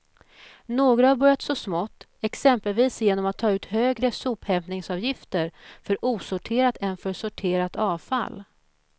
Några har börjat så smått, exempelvis genom att ta ut högre sophämtningsavgifter för osorterat än för sorterat avfall.